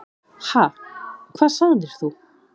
Ha, hvað sagðir þú?